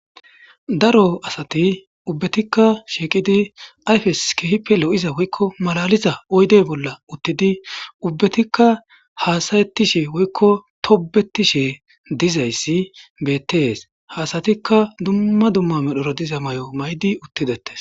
daro asati ubbetikka shiiqidi ayfes kehipe lo7iza woykko malaliza oydey bolla uttidi ubbatikka haasayettishe woykko tobetishe dizayssi bettees haasatikka dumma dumma medhoro diza may7o maydi uttidettes